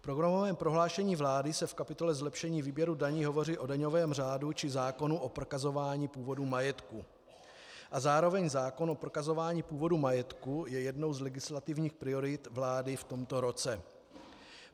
V programovém prohlášení vlády se v kapitole Zlepšení výběru daní hovoří o daňovém řádu či zákonu o prokazování původu majetku a zároveň zákon o prokazování původu majetku je jednou z legislativních priorit vlády v tomto roce.